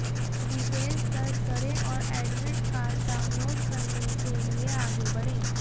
details दर्ज करें और एडमिट कार्ड डाउनलोड करने के लिए आगे बढ़ें